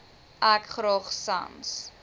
ek graag sans